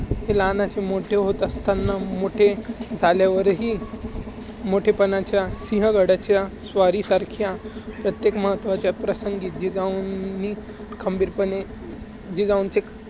लहानाचे मोठे होत असतांना, मोठे झाल्यावरह, मोठेपणाच्या सिंहगडाच्या स्वारीसारख्या प्रत्येक महत्वाच्या प्रसंगी जिजाऊंनी खंबीरपणे जिजाऊंचे